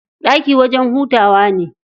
Ɗaki wajen hutawa ne.